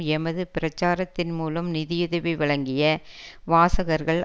எமது பிரச்சாரத்தின் மூலம் நிதியுதவி வழங்கிய வாசகர்கள்